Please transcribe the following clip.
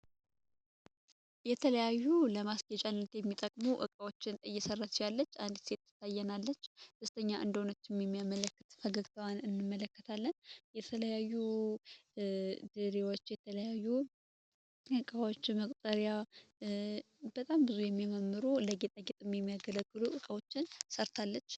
የተለያዩ የልማት የሚያገለግሉ ዕቃዎችን እየሰራች ያለች ጥበበኛ እንደሆነችን የሚያመለክት ፈገግታዋን እንመለከታለን የተለያዩ ጥሪዎችን የተለያዩ መቁጠሪያ በጣም ብዙ የሚያማምሩ ስራዎችን የተለያዩ መቁጠርያ እና የተለያዩ የሚመገቡንን መመገብያዎች ሠርታለች።